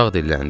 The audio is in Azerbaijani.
Uşaq dilləndi.